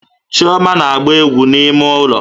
Chioma na-agba égwú n'ime ụlọ